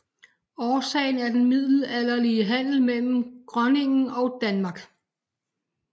Årsagen er den middelalderlige handel mellem Groningen og Danmark